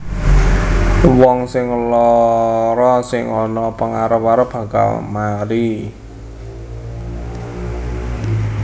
Wong sing lara sing ana pangarep arep bakal mari